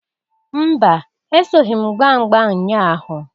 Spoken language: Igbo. Mba! Esoghi m gbaa mgba nnya ahụ.